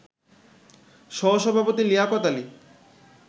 সহসভাপতি লিয়াকত আলী